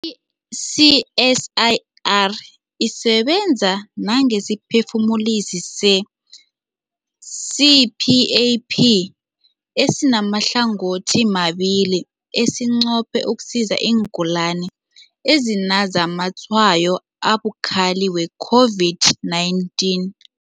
I-CSIR isebenza nangesiphefumulisi se-CPAP esimahlangothimabili esinqophe ukusiza iingulani ezinazamatshwayo abukhali we-COVID-19.